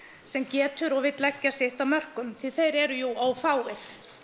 sem getur og vill leggja sitt af mörkum því þeir eru jú ófáir